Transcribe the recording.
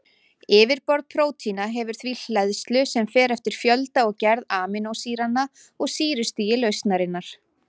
Yfirborð prótína hefur því hleðslu sem fer eftir fjölda og gerð amínósýranna og sýrustigi lausnarinnar.